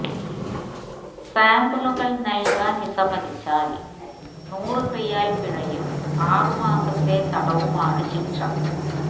സാമ്പിളുകൾ നൽകാൻ വിസമ്മതിച്ചാൽ നൂറ് റിയാൽ പിഴയും ആറ് മാസത്തെ തടവുമാണ് ശിക്ഷ